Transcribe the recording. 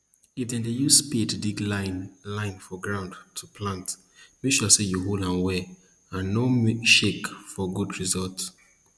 if you dey use spade dig line line for ground to plant make sure say you hold am well and nor shake for good result